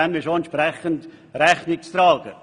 Dem ist entsprechend Rechnung zu tragen.